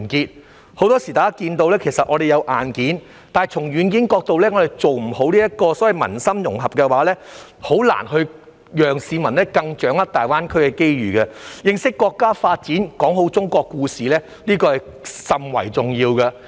大家很多時看到，香港其實有硬件，但從軟件的角度來看，做不好所謂民心融合，便很難讓市民掌握大灣區的機遇，故此認識國家發展，講好中國故事甚為重要。